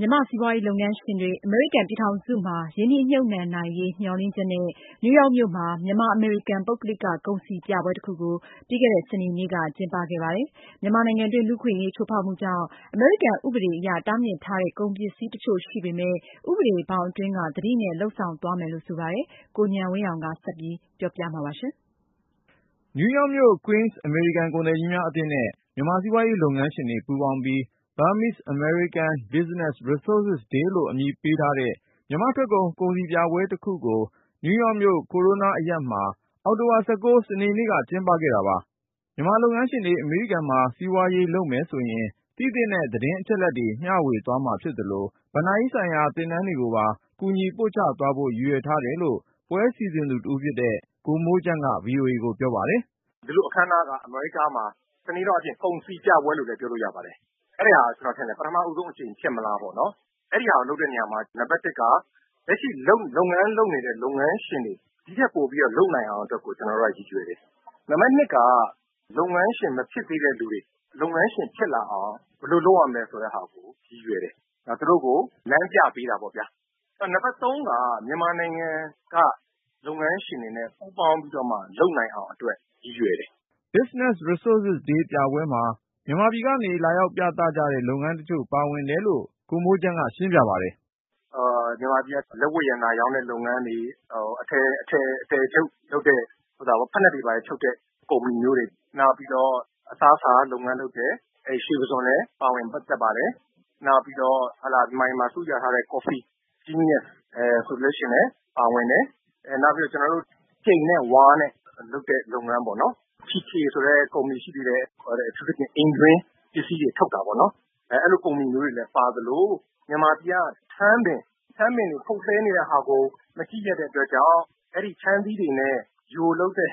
မြန်မာ့စီးပွားရေးလုပ်ငန်းရှင်တွေ အမေရိကန်ပြည်ထောင်စုမှာ ရင်းနှီးမြှုပ်နှံနိုင်ရေး မျှော်လင့်ချက်နဲ့ နယူးယောက်မြို့မှာ မြန်မာ-အမေရိကန် ပုဂ္ဂလိက ကုန်စည်ပြပွဲတခုကို ပြီးခဲ့တဲ့ စနေနေ့က ကျင်းပခဲ့ကြပါတယ်။ မြန်မာနိုင်ငံတွင်း လူ့အခွင့်အရေး ချိုးဖောက်မှုကြောင့် အမေရိကန်ဥပဒေအရ တားမြစ်ထားတဲ့ ကုန်ပစ္စည်းတချို့ရှိပေမယ့် ဥပဒေဘောင်အတွင်းက သတိနဲ့ လုပ်ဆောင်သွားမယ်လို့ ဆိုပါတယ်။ ဒီအကြောင်း ကိုဉာဏ်ဝင်းအောင်က တင်ပြထားပါတယ်။ Queens အမေရိကန် ကုန်သည်ကြီးများအသင်းနဲ့ မြန်မာ့စီးပွားရေး လုပ်ငန်းရှင်တွေ ပူးပေါင်းပြီး “Burmese-American Business Resources Day” လို့ အမည်ပေးထားတဲ့ မြန်မာ့ထွက်ကုန် ကုန်စည်ပြပွဲတခုကို နယူးယောက်မြို့ Corona အရပ်မှာ အောက်တိုဘာ ၁၉ ရက် စနေနေ့ မွန်းလွဲပိုင်းက ကျင်းပခဲ့ကြတာပါ။ မြန်မာလုပ်ငန်းရှင်တွေ အမေရိကန်မှာ စီးပွားရေးလုပ်မယ်ဆိုရင် သိသင့်တဲ့ သတင်းအချက်အလက်တွေ မျှဝေသွားမှာဖြစ်သလို ဘဏ္ဍာရေးဆိုင်ရာ သင်တန်းတွေကိုပါ ကူညီပို့ချသွားဖို့ ရည်ရွယ်ထားတယ်လို့ ပြပွဲစီစဉ်သူတဦးဖြစ်တဲ့ ကိုမိုးချမ်းက ဗွီအိုအေကို ပြောပါတယ်။ “ဒီလိုအခမ်းအနားက အမေရိကားမှာ တနည်းအားဖြင့် ကုန်စည်ပြပွဲလို့လည်း ပြောလို့ရပါတယ်။ အဲဒီဟာက ကျနော်ထင်တယ် ပထမဦးဆုံးအကြိမ် ဖြစ်မလားပေါ့နော်။ အဲဒီဟာကို လုပ်တဲ့နေရာမှာ နံပါတ်တစ်က လက်ရှိ လုပ်ငန်းလုပ်နေတဲ့ လုပ်ငန်းရှင်တွေ ဒီ့ထက်ပိုလုပ်နိုင်အောင်အတွက် ကျနော်တို့က ရည်ရွယ်တယ်။ နံပါတ်နှစ်က လုပ်ငန်းရှင် မဖြစ်သေးတဲ့လူတွေ လုပ်ငန်းရှင်ဖြစ်လာအောင် ဘယ်လိုလုပ်ရမလဲ ဆိုတဲ့ဟာကို ရည်ရွယ်တယ်။ သူတို့ကို လမ်းပြပေးတာပေါ့ဗျာ။ နှစ်ဖက်စလုံးက မြန်မာနိုင်ငံက လုပ်ငန်းရှင်တွေနဲ့ ပူးပေါင်းပြီးတော့မှ လုပ်နိုင်အောင်အတွက် ရည်ရွယ်တယ်။” Business Resources Day ပြပွဲမှာ မြန်မာပြည်ကနေ လာရောက်ပြသကြတဲ့ လုပ်ငန်းတချို့ ပါဝင်ခဲ့တယ်လို့ ကိုမိုးချမ်းက ရှင်းပြပါတယ်။ “မြန်မာပြည်က လက်ဝတ်ရတနာရောင်းတဲ့ လုပ်ငန်းတွေ၊ အထည်ချုပ်လုပ်တဲ့ ဖိနပ်တွေဘာတွေချုပ်တဲ့ ကုမ္ပဏီမျိုးတွေ၊ နောက်ပြီးတော့ အစားအစာလုပ်ငန်းလုပ်တဲ့ ရွှေပုစွန်လည်း ပါဝင်ပတ်သက်ပါတယ်။ နောက်ပြီးတော့ မြန်မာပြည်မှာ ဆုရထားတဲ့ Genius ကော်ဖီဆိုလည်း ပါဝင်တယ်။ နောက်ပြီးတော့ ကြိမ်နဲ့ ဝါးနဲ့လုပ်တဲ့ လုပ်ငန်းပေါ့ TK ဆိုတဲ့ကုမ္ပဏီ ရှိသေးတယ်။ အထူးသဖြင့် အိမ်တွင်းပစ္စည်းတွေ ထုတ်တာပေါ့။ အဲဒီလို ကုမ္ပဏီမျိုးတွေလည်း ပါသလို မြန်မာပြည်က ထန်းပင်တွေ ခုတ်လှဲနေတဲ့ဟာကို မကြည့်ရက်တဲ့အတွက်ကြောင့် အဲဒီထန်းသီးတွေနဲ့ ယိုလုပ်တဲ့